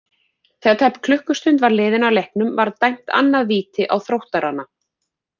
Þegar tæp klukkustund var liðin af leiknum var dæmt annað víti á Þróttarana.